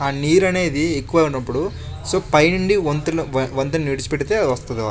ఆ నీరు అనేది ఎక్కువైనప్పుడు సో పైన పైనుండి వాత్ వ వంతెన ను విడిచి పెడితే వస్తది వాటర్ .